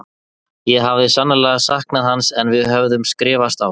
Ég hafði sannarlega saknað hans en við höfðum skrifast á.